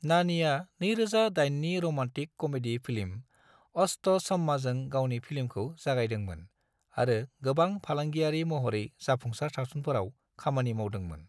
नानीआ 2008 नि romantic comedy film Ashta चम्माजों गावनि फिल्मखौ जागायदोंमोन आरो गोबां फालांगियारि महरै जाफुंसार सावथुनफोराव खामानि मावदोंमोन।